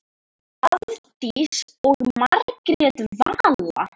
Hafdís og Margrét Vala.